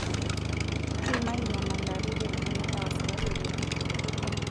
Kiimaki nyamalaritin uni e wasiwasi tene.